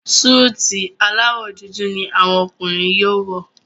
Súìtì alawọ dúdú ní àwọn ọkùnrin yóò wọ.